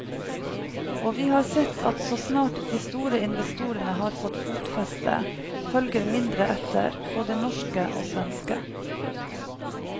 Og vi har sett at så snart de store investorene har fått fotfeste, følger mindre etter, både norske og svenske.